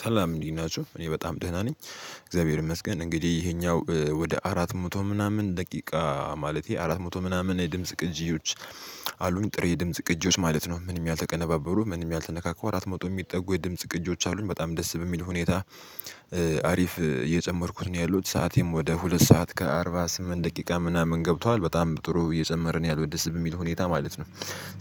ሰላም እንዲት ናቸው እኔ በጣም ደህና ነኝ። እግዚአብሔር ይመስገን እንግዲህ ይሄኛው ወደ አራት መቶ ምናምን ደቂቃ ማለቴ አራት መቶ ምናምን የድምጽ ቅጂዎች። አሉኝ ጥሬ የድምጽ ቅጂዎች ማለት ነው ምንም ያልተቀነባበሉ ምንም ያልተነካኩ አራት መቶ የሚጠጉ የድምጽ ቅጂዎች አሉኝ በጣም ደስ በሚል ሁኔታ። አሪፍ የጨመርኩት ነው ያሉት ሰዓቴም ወደ ሁለት ሰዓት ከአርባ ስምንት ደቂቃ ምናምን ገብቷል በጣም ጥሩ እየጨመርን ያልወደሰን የሚል ሁኔታ ማለት ነው።